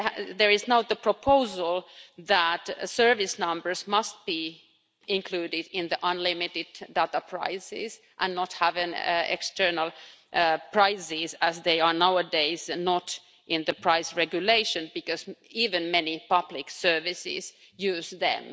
There is now the proposal that service numbers must be included in the unlimited data prices and not have external prices as they are nowadays, not in the price regulation, because even many public services use them.